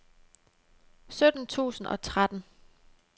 sytten tusind og tretten